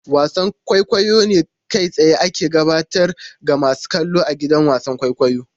Wasan kwaikwayo ne kai tsaye ake gabatar ga masu kallo a gidan wasan kwaikwayo.